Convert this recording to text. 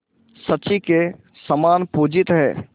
शची के समान पूजित हैं